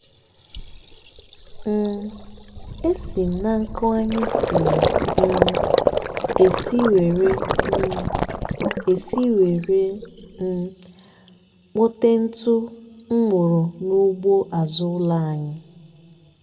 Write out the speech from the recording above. um e si m na nkụ anyị siri um esi were um esi were um kpote ntụ m wụrụ n'ugbo azụ ụlọ anyị.